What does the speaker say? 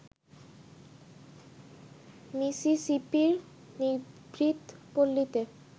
মিসিসিপির নিভৃত পল্লীতে